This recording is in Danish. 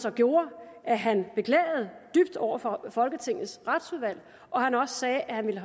så gjorde at han beklagede dybt over for folketingets retsudvalg og at han også sagde at han ville